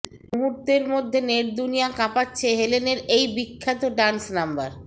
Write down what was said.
মুহূর্তের মধ্যে নেটদুনিয়া কাঁপাচ্ছে হেলেনের এই বিখ্যাত ডান্স নাম্বার